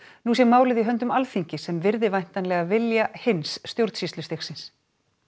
nú sé málið í höndum Alþingis sem virði væntanlega vilja hins stjórnsýslustigsins